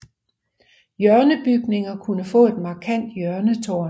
Hjørnebygninger kunne få et markant hjørnetårn